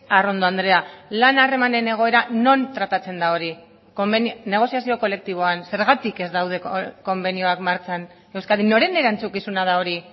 arrondo andrea lan harremanen egoera non tratatzen da hori negoziazio kolektiboan zergatik ez daude konbenioak martxan euskadin noren erantzukizuna da hori